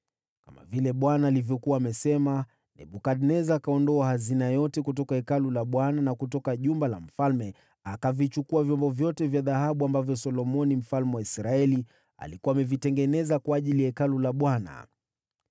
Kama vile Bwana alivyokuwa amesema, Nebukadneza akaondoa hazina yote kutoka Hekalu la Bwana na kutoka jumba la mfalme, akavichukua vyombo vyote vya dhahabu ambavyo Solomoni mfalme wa Israeli alikuwa amevitengeneza kwa ajili ya Hekalu la Bwana .